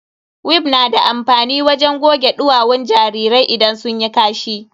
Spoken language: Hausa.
Wif na da amfani ne wajen goge duwawun jarirai idan sun yi kashi.